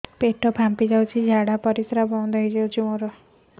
ପେଟ ଫାମ୍ପି ଯାଇଛି ଝାଡ଼ା ପରିସ୍ରା ବନ୍ଦ ହେଇଯାଇଛି